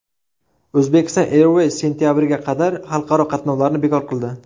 Uzbekistan Airways sentabrga qadar xalqaro qatnovlarni bekor qildi.